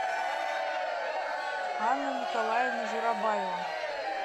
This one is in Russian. анна николаевна журабаева